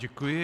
Děkuji.